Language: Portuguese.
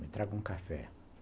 Me traga um café.